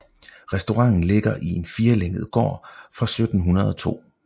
Restauranten ligger i en firelænget gård fra 1702